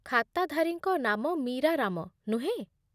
ଖାତାଧାରୀଙ୍କ ନାମ ମୀରା ରାମ, ନୁହେଁ ?